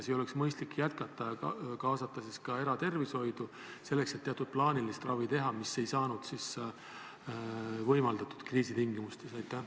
Kas ei oleks mõistlik jätkata ja kaasata ka eratervishoidu selleks, et teha teatud plaanilist ravi, mida praegu ei saanud võimaldada kriisitingimustes?